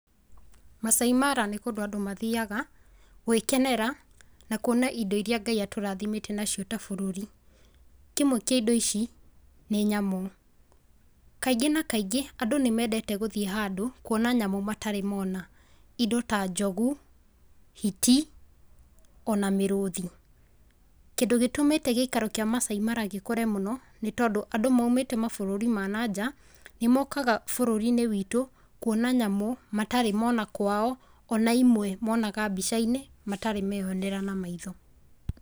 Maasai Mara nĩ kũndũ andũ mathiaga gwĩkenera na kuona indo ĩrĩa Ngai atũrathimĩte nacio ta bũrũri, kĩmwe kĩa indo ici nĩ nyamũ. Kaingĩ na kaingĩ andũ nĩmendete gũthiĩ handũ kuona nyamũ matarĩ mona indo ta njogu, hiti, ona mĩrũthi, kĩndũ gĩtũmĩte gĩikaro kĩa Maasai Mara gũkũra mũno nĩtondũ andũ maũmĩte mabũrũri ma na nja nĩmokaga bũrũriinĩ witũ kuona nyamũ matarĩ mona kwao ona imwe monaga mbicainĩ matarĩ meonera na maitho.